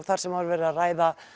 þar sem var verið að ræða